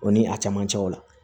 O ni a cɛmancɛw la